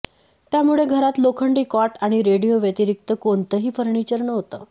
त्यामुळे घरात लोखंडी कॉट आणि रेडिओ व्यतिरिक्त कोणतंही फर्निचर नव्हतं